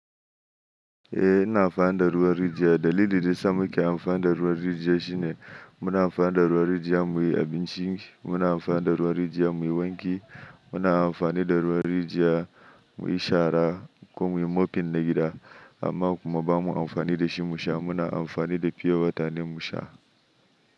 Eh ina amfani da ruwan rijiya. Dalilin da ya sa muke amfani da ruwan rijiya shine muna amfani da ruwan rijiya muyi abinci, muna amfani da ruwan rijiya muyi wanki, muna amfani da ruwan rijiya muyi shara kuma muyi mopin gida amma kuma ba mu amfani da shi musa muna amfani da piyowata ne musa.